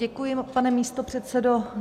Děkuji, pane místopředsedo.